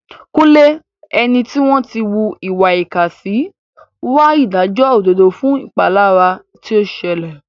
Kunle, ẹni tí wọ́n ń hùwà ìkà sí, ń wá ìdájọ́ òdodo fún ìpalára tí ó ṣẹlẹ̀.